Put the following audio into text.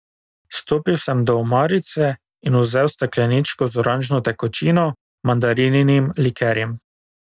Stopil sem do omarice in vzel stekleničko z oranžno tekočino, mandarininim likerjem.